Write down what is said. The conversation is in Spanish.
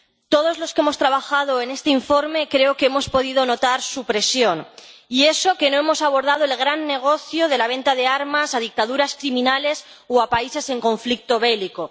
Todos los que hemos trabajado en este informe creo que hemos podido notar su presión, y eso que no hemos abordado el gran negocio de la venta de armas a dictaduras criminales o a países en conflicto bélico.